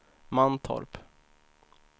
Mantorp